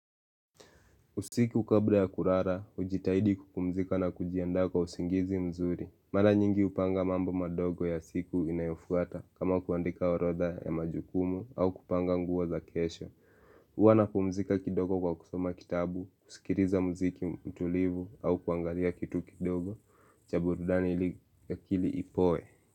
Usiku kabla ya kurara, ujitahidi kupumzika na kujianda kwa usingizi mzuri Mala nyingi upanga mambo madogo ya siku inayofuata kama kuandika orodha ya majukumu au kupanga nguo za kesho Uwa na pumzika kidogo kwa kusoma kitabu, kusikiriza muziki mtulivu au kuangalia kitu kidogo Chaburudani ili akili ipoe.